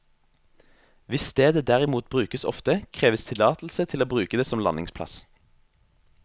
Hvis stedet derimot brukes ofte, kreves tillatelse til å bruke det som landingsplass.